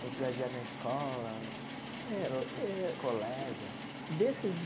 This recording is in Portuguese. do dia a dia na escola, Eh eh dos outros colegas? Desses